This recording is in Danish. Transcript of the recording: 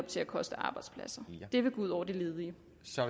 til at koste arbejdspladser det vil gå ud over de ledige